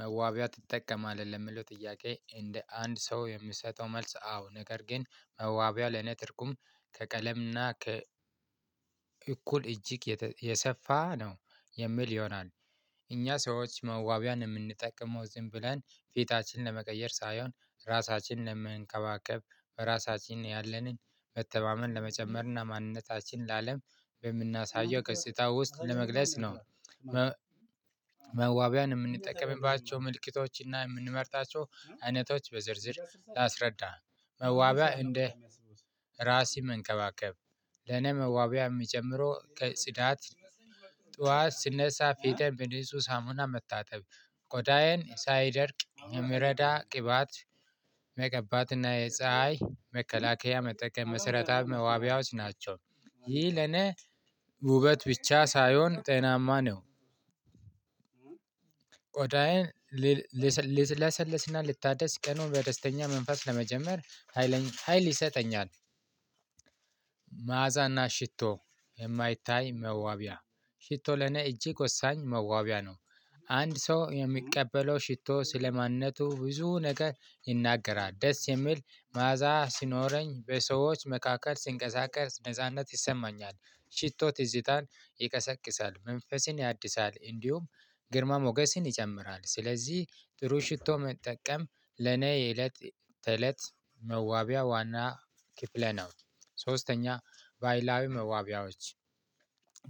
መዋቢያ ትጠቀማለህ? ለሚለው ጥያቄ እንደ አንድ ሰው የምሰጠው መልስ አዎ ነገር ግን መዋቢያ ለኔ ትርጉም ከቀለምና ከ- እኩል እጅግ የሰፋ ነው የሚል ይሆናል። እኛ ሰዎች መዋቢያን የምንጠቀመው ዝም ብለን ፊታችን ለመቀየር ሳይሆን ራሳችንን ለመንከባከብ: ራሳችንን ያለንን መተማመን ለመጨመር:ና ማንነታችንን ለአለም በምናሳየው ገጽታ ውስጥ ለመግለጽ ነው። መዋቢያን የምንጠቀምባቸው ምልክቶችና የምንመርጣቸው አይነቶች በዝርዝር ላስረዳ- መዋቢያ እንደ ራሴ መንከባከብ ለኔ መዋቢያ የሚጀምረው ከጽዳት- ጧት ስነሳ ፊተን በንጹህ ሳሙና መታጠብ ቆዳየን ሳይደርቅ የምረዳ ቅባት መቀባት- እና የፀሀይ መከላከያ መጠቀም መሰረታዊ መዋቢያዎች ናቸው። ይህ ለኔ ውበት ብቻ ሳይሆን ጤናማ ነው። ልለሰልስና ልታደስ ቀኑን በደስተኛ መንፈስ ለመጀመር ሀይል ሀይል ይሰጠኛል። መዓዛና ሽቶ የማይታይ መዋቢያ ሽቶ ለኔ እጅግ ወሳኝ መዋቢያ ነው። አንድ ሰው የሚቀበለው ሽቶ ስለማንነቱ ብዙ ነገር ይናገራል። ደስ የሚል መዓዛ ሲኖረኝ በሰዎች መካከል ሲንቀሳቀስ ነጻነት ይሰማኛል። ሽቶ ትዝታን ይቀሰቅሳል። መንፈስን ያድሳል። እንዲሁም- ግርማ ሞገስን ይጨምራል። ስለዚህ ጥሩ ሽቶ መጠቀም ለኔ የእለት ተእለት መዋቢያ ዋና ክፍለ ነው። ሶስተኛ ባይላዊ መዋቢያዎች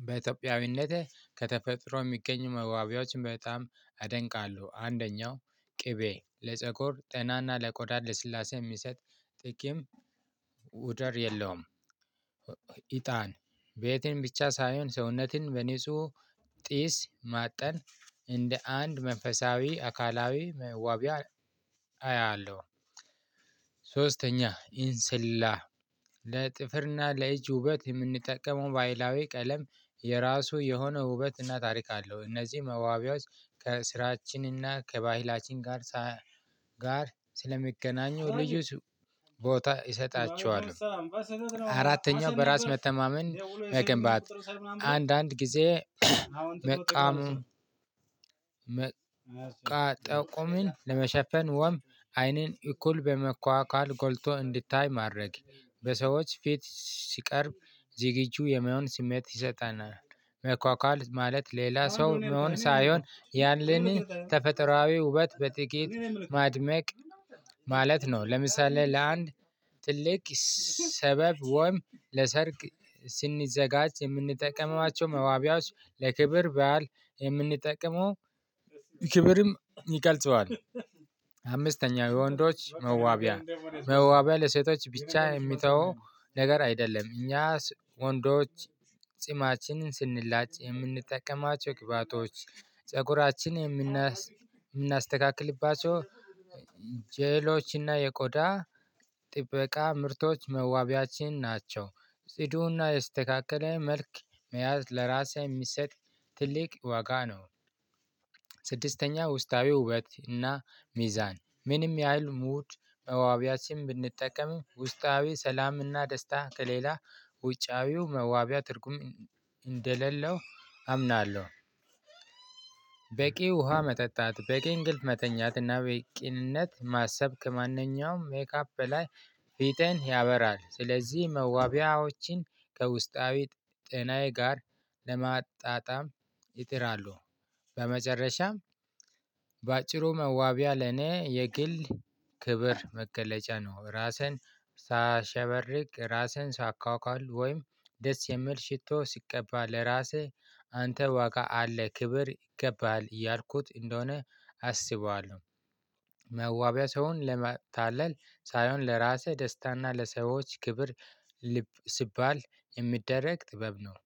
በኢትዮጵያዊነት ከተፈጥሮ የሚገኙ መዋቢያዎችን በጣም አደንቃለሁ። አንደኛው ቅቤ ለፀጉር ጤናና ለቆዳ ለልስላሴ የሚሰጥ ጥቂም ውደር የለውም። ኢጣን ቤትም ብቻ ሳይሆን ሰውነትን በንጹህ ጢስ ማጠን እንደ አንድ መንፈሳዊ አካላዊ መዋቢያ አያለሁ። ሶስተኛ ኢንስላ ለእጅ ውበት የምንጠቀመው በአይላዊ ቀለም የራሱ የሆነ ውበት እና ታሪክ አለው። እነዚህ መዋቢያዎች ከስራችንና ከባህላችን ጋር ጋር ስለሚገናኙ ልዩ ቦታ እሰጣቸዋል። አራተኛው በራስ መተማመን መገንባት። አንዳንድ ጊዜ መቃሙ- መቃጠቁምን ጠቁምን ለመሸፈን ወም አይንን እኩል በመኳኳል ጎልቶ እንዲታይ ማድረግ። በሰዎች ፊት ሲቀርብ ዝግጁ የመሆን ስሜት ይሰጠናል። መኳኳል ማለት ሌላ መሆን ሳይሆን ያንን ተፈጥሮአዊ ውበት በጥቂት ማድመቅ- ማለት ነው። ለምሳሌ ለአንድ ትልቅ ሰበብ ወይም ለሰርግ ስንዘጋጅ የምንጠቀማቸው መዋቢያዎች ለክብር በዓል የምንጠቀመው- ክብርም ይቀልጸዋል። አምስተኛው:- የወንዶች መዋቢያ መዋቢያ ለሴቶች ብቻ የሚተወው ነገር አይደለም። እኛስ ወንዶች ጺማችንን ስንላጭ የምንጠቀማቸው ቅባቶች ፀጉራችን የምናስተካክልባቸው- ጀሎችና የቆዳ ጥበቃ ምርቶች መዋቢያችን ናቸው። ጺዱና የስተካከለ መልክ መያዝ ለራሴ የሚሰጥ ትልቅ ዋጋ ነው። ስድስተኛ ውስጣዊ ውበት እና ሚዛን :-ምንም ያህል ሙድ መዋቢያ ሲም ብንጠቀም ውስጣዊ ሰላም እና ደስታ ከሌላ ውጫዊው መዋቢያ ትርጉም እንደሌለው አምናለሁ። በቂ ውሃ መጠጣት: በቂ እንቅልፍ መተኛት:ና በቂ ቅንነት ማሰብ ከማንኛውም ሜካፕ በላይ ፊትን ያበራል። ስለዚህ መዋቢያዎችን ከውስጣዊ ጤናዬ ጋር ለማጣጣም ይጥራሉ። በመጨረሻም- በአጭሩ መዋቢያ ለኔ የግል ክብር መገለጫ ነው። ራስን ሳሸበርቅ :ራስህን ሳካካል ወይም ደስ የሚል ሽቶ ሲቀባ :ለራስህ አንተ ዋጋ አለ ክብር ይገባል እያልኩት እንደሆነ አስበዋለሁ። መዋቢያ ሰውን ለማታለል ሳይሆን ለራሴ ደስታና ለሰዎች ክብር- ሲባል የሚደረግ ጥበብ ነው።